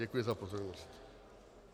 Děkuji za pozornost.